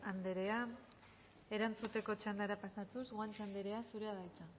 anderea erantzuteko txandara pasatuz guanche anderea zurea da hitza